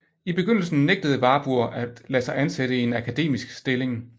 I begyndelsen nægtede Warburg at lade sig ansætte i en akademisk stilling